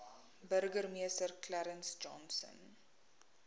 burgemeester clarence johnson